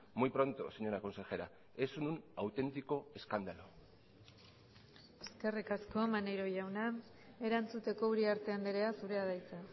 muy pronto señora consejera es un auténtico escándalo eskerrik asko maneiro jauna erantzuteko uriarte andrea zurea da hitza